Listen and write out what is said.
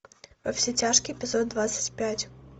во все тяжкие эпизод двадцать пять